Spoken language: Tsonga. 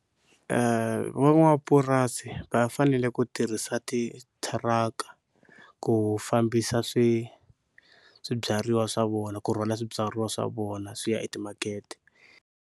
Van'wamapurasi va fanele ku tirhisa titiaka ku fambisa swilo swibyariwa swa vona ku rhwala swibyariwa swa vona swi ya timakete.